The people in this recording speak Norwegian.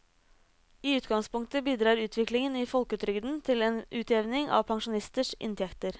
I utgangspunktet bidrar utviklingen i folketrygden til en utjevning av pensjonisters inntekter.